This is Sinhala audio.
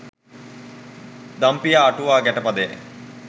දම්පියා අටුවා ගැටපදයයි.